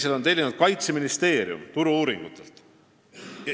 Kaitseministeerium on selle tellinud Turu-uuringutelt.